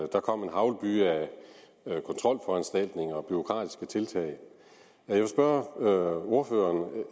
der kom en haglbyge af kontrolforanstaltninger og bureaukratiske tiltag jeg vil spørge ordføreren